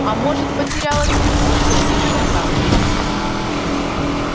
а может потеряла телефон со всеми контактами